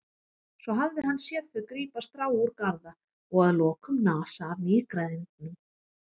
Svo hafði hann séð þau grípa strá úr garða og að lokum nasa af nýgræðingnum.